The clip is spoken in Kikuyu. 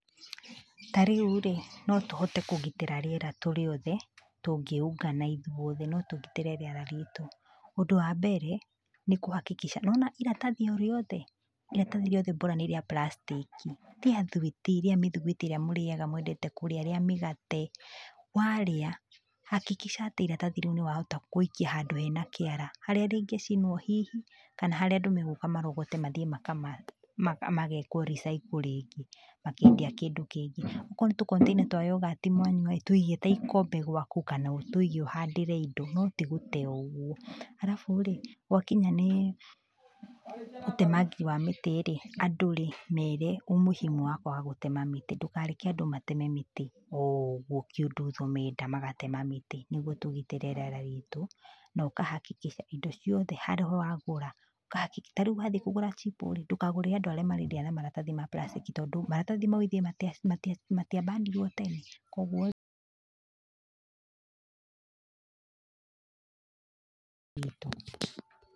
Tarĩurĩ no tũhote kũgitĩra rĩera turĩ othe tũngĩungana ithuothe, no tũgitĩre rĩera ritũ. Ũndũ wa mbere nĩ kũ hakikisha nĩ wona iratathi o rĩothe, iratathi rĩothe bora nĩ rĩa puracitĩki, rĩa thwiti, rĩa mĩthuguiti ĩria mũrĩyaga, mũendete kũrĩa, rĩa mĩgate, warĩa hakikisha atĩ ĩratathi rĩu nĩ wahota gũikia handũ hena kĩara, harĩa rĩngĩcinwo hihi kana harĩa andũ megũka marogote mathiĩ magekwo recycle rĩngĩ matuĩke kĩndũ kĩngĩ. Akorwo nĩ tũ container twa yogati mwanyua-ĩ tũige ta ikombe gwaku kana ũtũige ũhandĩre indo no tigũte o ũguo. Arabu-rĩ gwakinya nĩ ũtemangi wa mĩtĩ-rĩ, andũ rĩ mere umũhimu wa kwaga gũtema mĩtĩ, ndũkareke andũ mateme mĩtĩ oũguo kiundutho menda magatema mĩtĩ, nĩguo tũgitĩre rĩera ritũ. No ũka hakikisha indo ciothe harĩa ũragũra, ta rĩu wathiĩ kũgũra chipo-rĩ ndũkagũrĩre andũ arĩa marendia na maratathi ma puracitĩki, tondũ maratathi mau ĩthe matiabanirwo tene? Koguo-rĩ ritũ.